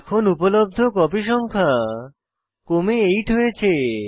এখন উপলব্ধ কপি সংখ্যা কমে 8 হয়েছে